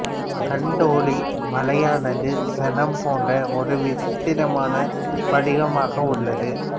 கண்டோலி மலையானது சேணம் போன்ற ஒரு விசித்திரமான வடிவமாக உள்து